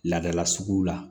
Ladala sugu la